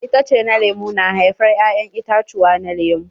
Itace na lemu na haifar ya'ƴan itatuwa na lemu.